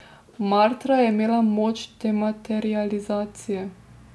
Martra je imela moč dematerializacije.